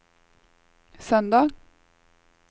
søndag